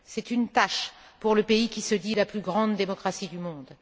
C'est une tache pour le pays qui se dit la plus grande démocratie du monde.